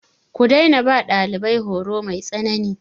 Ku daina ba ɗalibai horo mai tsanani.